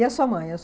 E a sua mãe?